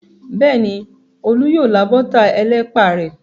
Bẹ́ẹ̀ni, Olú yóò lá bọ́tà ẹlẹ́pà rẹ̀.